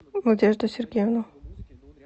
надежду сергеевну